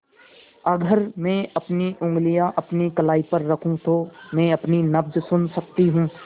अगर मैं अपनी उंगलियाँ अपनी कलाई पर रखूँ तो मैं अपनी नब्ज़ सुन सकती हूँ